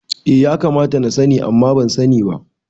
Eh ya kamata na sani amma ban sani ba